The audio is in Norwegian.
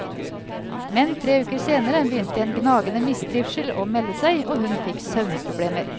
Men tre uker senere begynte en gnagende mistrivsel å melde seg, og hun fikk søvnproblemer.